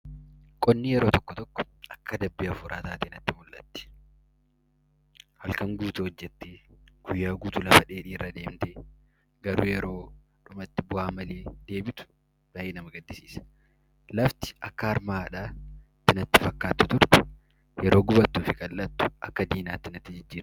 Qonni yeroo tokko tokko akka adabbii hafuuraa taatee natti mul'atti! Halkan guutuu hojjettee, guyyaa guutuu lafa dheedhiirra deemtee garuu yeroo dhumatti bu'aa malee deebitu baay'ee nama gaddisiisa. Lafti akka harma haadhaa natti fakkaattu turte, yeroo itti gubattuu fi qal'attu akka diinaatti natti jijjiiramti!